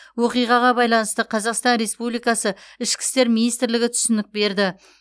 оқиғаға байланысты қазақстан республикасы ішкі істер министрлігі түсінік берді